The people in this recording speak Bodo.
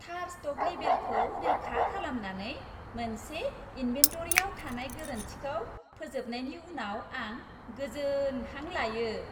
थार स्ट'क लेबेलखौ रोखा खालामनानै, मोनसे इन्भेन्टरिआव थानाय गोरोन्थिखौ फोजोबनायनि उनाव आं गोजोन हां लायो।